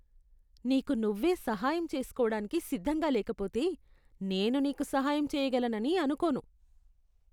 నీకు నువ్వే సహాయం చేసుకోడానికి సిద్ధంగా లేకపోతే నేను నీకు సహాయం చేయగలనని అనుకోను.